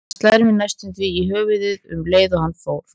Hann slær mig næstum því í höfuðið um leið og hann fórn